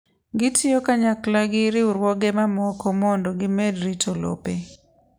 Gitiyo kanyakla gi riwruoge mamoko mondo gimed rito lope.